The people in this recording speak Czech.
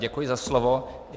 Děkuji za slovo.